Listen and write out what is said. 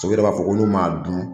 Paseke, u yɛrɛ b'a fɔ ko n'u m'a dun